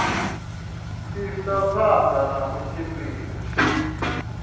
isa phanda na u tshimbidza